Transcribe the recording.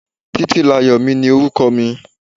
Títílayọ̀mi ni orúkọ mi.